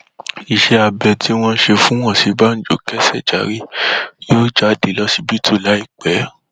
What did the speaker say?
iṣẹ abẹ tí wọn ṣe fún òsínbàjò kẹsẹ járí yóò jáde lọsibítù láìpẹ